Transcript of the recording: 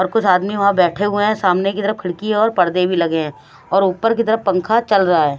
और कुछ आदमी वहां बैठे हुए हैं सामने की तरफ खिड़की और पर्दे भी लगे हैं और ऊपर की तरफ पंखा चल रहा है।